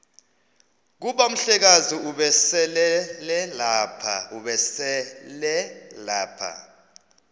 kuba umhlekazi ubeselelapha